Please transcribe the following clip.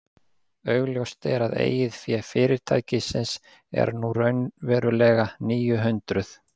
Augljóst er að eigið fé fyrirtækisins er nú raunverulega níu hundruð.